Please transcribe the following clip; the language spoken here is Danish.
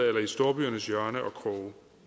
eller i storbyernes hjørner og kroge